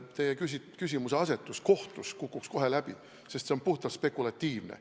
Teie küsimuseasetus kukuks kohtus kohe läbi, sest see on puhtalt spekulatiivne.